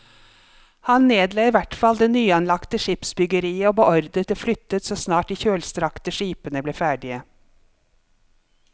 Han nedla i hvert fall det nyanlagte skipsbyggeriet og beordret det flyttet så snart de kjølstrakte skipene ble ferdige.